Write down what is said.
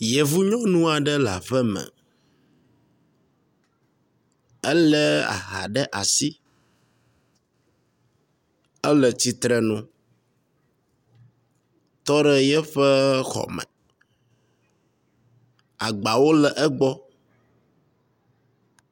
Yevu nyɔnu aɖe le aƒe me, elé aha ɖe asi. Ele tsitre nu, tɔ ɖe yeƒe xɔme. Agbawo le egbɔ.